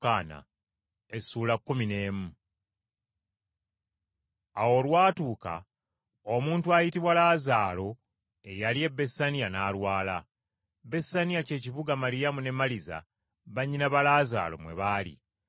Awo olwatuuka omuntu ayitibwa Laazaalo eyali e Besaniya n’alwala. Besaniya ky’ekibuga Maliyamu ne Maliza bannyina ba Laazaalo mwe baali.